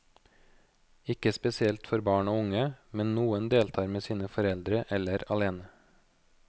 Ikke spesielt for barn og unge, men noen deltar med sine foreldre eller alene.